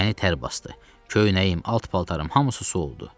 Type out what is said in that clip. Məni tər basdı, köynəyim, alt paltarım hamısı su oldu.